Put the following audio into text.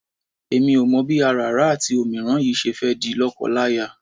Èmi ò mọ̀ bí àràrá àti òmíràn yìí ṣe fẹ́ di lọ́kọláya.